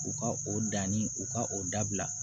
U ka o danni u ka o dabila